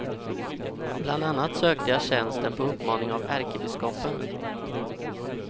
Bland annat sökte jag tjänsten på uppmaning av ärkebiskopen.